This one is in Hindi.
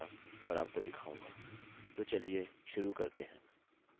ठीक है यहाँ if statementस्टेट्मेन्ट के बारे में संक्षिप्त है यह कुछ शर्त आरक्षित करता है